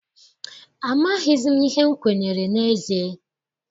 Amaghịzi m ihe m kwenyere n'ezie.